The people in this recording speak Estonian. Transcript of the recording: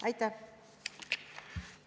Aitäh!